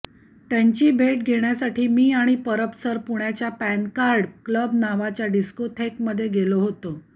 त्यांची भेट घेण्यासाठी मी आणि परब सर पुण्याच्या पॅनकार्ड क्लब नावाच्या डिस्कोथेकमध्ये गेलो होतो